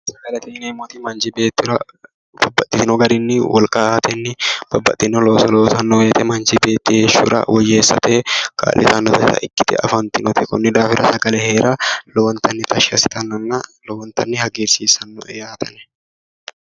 Sagalete yinneemoti manchi beettira babbaxino garini wolqa aateni babbaxino looso loosano woyte manchi beettira heeshsho woyyeessate kaa'littanotta ikkite afantinote konni daafira sagale heera lowo geeshsha tashshi assittanonna lowontanni hagiirsiisanoe yaate ane.